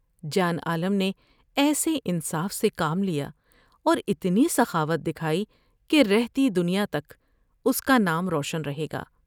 جان عالم نے ایسے انصاف سے کام لیا اور اتنی سخاوت دکھائی کہ رہتی دنیا تک اس کا نام روشن رہے گا ۔